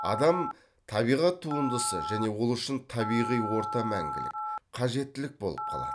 адам табиғат туындысы және ол үшін табиғи орта мәңгілік қажеттілік болып қалады